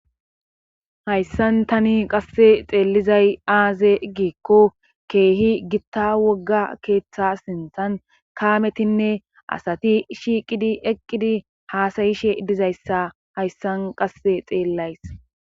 hayssan tani qasse xeellizay aaze igikko keehi gitta wogga keeththa sinthan kaametinne asati shiiqidi eqqidi haasayishe dizayssa hayssan qasse xeellays